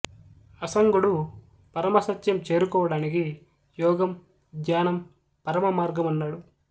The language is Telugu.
అసంగుడు పరమ సత్యం చేరుకోవడానికి యోగం ధ్యానం పరమ మార్గమన్నాడు